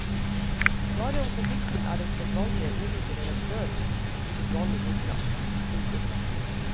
Bare om konflikten er den sedvanlig ordrike redaktøren usedvanlig ordknapp. punktum